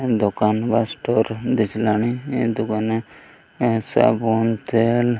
ଦୋକାନ ବା ଷ୍ଟୋର ଦେଖିଲାଣି ଏ ଦୁକାନ ରେ ସାବୁନ ତେଲ --